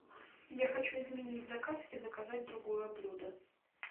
я хочу изменить заказ и заказать другое блюдо